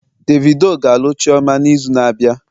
Davido ga-alụ chioma n'izu na-abịa